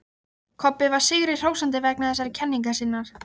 Kobbi var sigri hrósandi vegna þessarar kenningar sinnar.